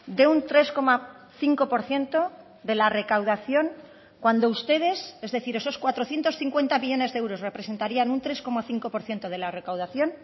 de un tres coma cinco por ciento de la recaudación cuando ustedes es decir esos cuatrocientos cincuenta millónes de euros representarían un tres coma cinco por ciento de la recaudación